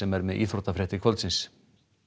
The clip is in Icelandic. er með íþróttafréttir kvöldsins